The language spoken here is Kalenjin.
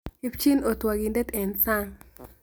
Ipchii otwaakindet eng sang'